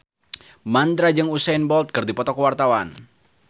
Mandra jeung Usain Bolt keur dipoto ku wartawan